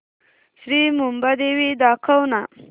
श्री मुंबादेवी दाखव ना